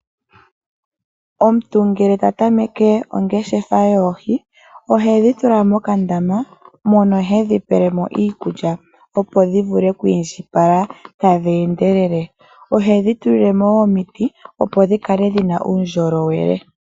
Omuntu ngele ta tameke ongeshefa yoohi ohedhi tula mokandama mono hedhi pelemo iikulya opo dhi vule oku indjipala tadhi endelele. Ohedhi tulilemo woo omiti opo dhikale dhina uundjolowele.